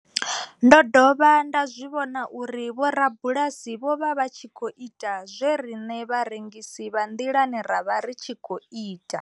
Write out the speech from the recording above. Ndo dovha nda zwi vhona uri vhorabulasi vho vha vha tshi khou ita zwe riṋe vharengisi vha nḓilani ra vha ri tshi khou ita.